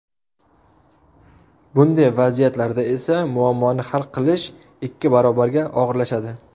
Bunday vaziyatlarda esa muammoni hal qilish ikki barobarga og‘irlashadi.